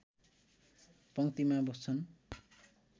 पङ्क्तिमा बस्छन्